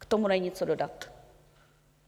K tomu není co dodat.